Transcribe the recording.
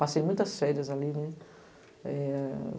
Passei muitas férias ali.